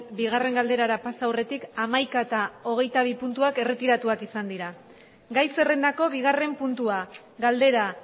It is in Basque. bigarren galderara pasa aurretik hamaika eta hogeitabi puntuak erretiratuak izan dira gai zerrendako bigarren puntua galdera